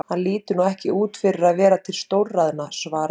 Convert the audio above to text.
Hann lítur nú ekki út fyrir að vera til stórræðanna, svaraði